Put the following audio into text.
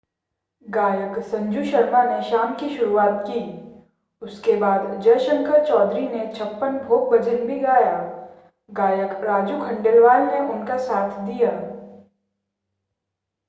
गायक संजू शर्मा ने शाम की शुरुआत की उसके बाद जय शंकर चौधरी ने छप्पन भोग भजन भी गाया गायक राजू खंडेलवाल ने उनका साथ दिया